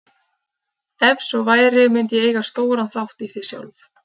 Ef svo væri mundi ég eiga stóran þátt í því sjálf.